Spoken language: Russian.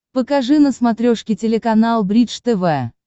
покажи на смотрешке телеканал бридж тв